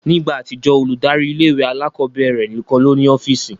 Ni igba atijọ, oludari ìlé-ìwé àlàkọbẹrẹ nikan lo ni ọfiisi